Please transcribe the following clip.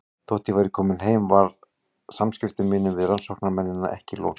Þótt ég væri komin heim var samskiptum mínum við rannsóknarmennina ekki lokið.